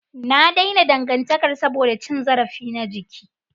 Na daina dangantakar saboda cin zarafi na jiki.